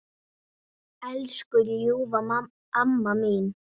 Elsku ljúfa amma mín.